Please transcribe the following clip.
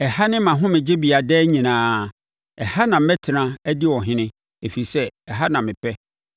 “Ɛha ne mʼahomegyebea daa nyinaa; ɛha na mɛtena adi ɔhene, ɛfiri sɛ ɛha na mepɛ,